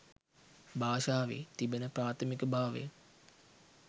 භාෂාවේ තිබෙන ප්‍රාථමික භාවය.